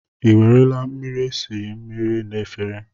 Ị nwarala mmiri esi mmiri na efere?